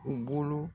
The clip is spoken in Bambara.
U bolo